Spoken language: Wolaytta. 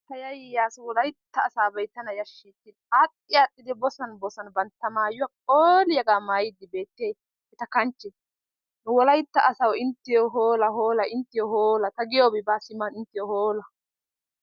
Ta yayaays wolaytta asaabay tana yaashees, aadhdhi aadhdhidi bosan bosan bantta maayuwa phooliyagaa mayidi beettiyay eta kanchche, wolaytta asawu inttiyo hoola! Hoolaa inttiyo hoola ta giyobi baa Sima inttiyo hoola!